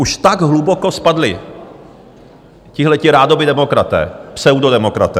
Už tak hluboko spadli tihleti rádoby demokraté, pseudodemokraté.